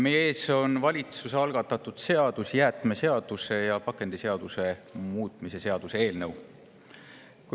Meie ees on valitsuse algatatud jäätmeseaduse ja pakendiseaduse muutmise seaduse eelnõu.